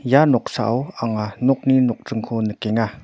ia noksao anga nokni nokdringko nikenga.